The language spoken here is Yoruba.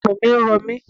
Ọrùn mi ń ro mi.